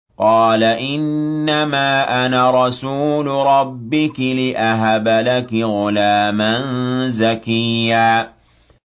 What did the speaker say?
قَالَ إِنَّمَا أَنَا رَسُولُ رَبِّكِ لِأَهَبَ لَكِ غُلَامًا زَكِيًّا